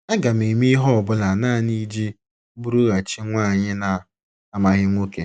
Aga m eme ihe ọ bụla nanị iji bụrụghachi nwanyị na - amaghị nwoke.